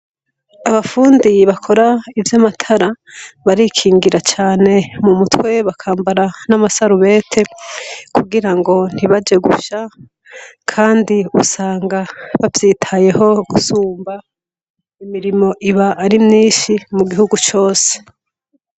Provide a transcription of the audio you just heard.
Abafundi bakora ivy'amatara barikingira cane mu mutwe bakambara n'amasarubete kugirangi ntibaje gusha kandi ugasanga bavyitayeho gusumba imirimo aba ari myinshi mu gihugu cose.